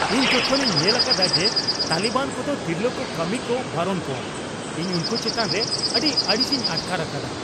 ᱤᱧ ᱡᱚᱠᱷᱚᱱᱤᱧ ᱧᱮᱞ ᱟᱠᱟᱫᱟ ᱡᱮ ᱛᱟᱹᱞᱤᱵᱟᱱ ᱠᱚᱫᱚ ᱛᱤᱨᱞᱟᱹ ᱠᱚ ᱠᱟᱹᱢᱤ ᱠᱚ ᱵᱟᱨᱚᱱ ᱠᱚᱣᱟ, ᱤᱧ ᱩᱱᱠᱩ ᱪᱮᱛᱟᱱ ᱨᱮ ᱟᱹᱰᱤ ᱟᱹᱲᱤᱥᱤᱧ ᱟᱴᱠᱟᱨ ᱟᱠᱟᱫᱟ ᱾